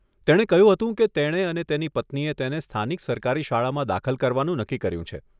તેણે કહ્યું કે તેણે અને તેની પત્નીએ તેને સ્થાનિક સરકારી શાળામાં દાખલ કરવાનું નક્કી કર્યું છે.